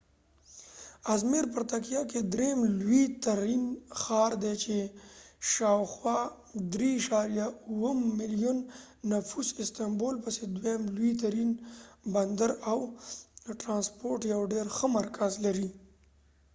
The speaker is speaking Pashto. ازمیر په ترکیه کې دریم لوی ترین ښار دی چې شاوخوا 3.7 ملیون نفوس استنبول پسې دویم لوی ترین بندر او د ټرانسپورټ یو ډېر ښه مرکز لري